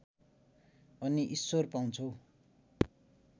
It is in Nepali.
अनि ईश्वर पाउँछौ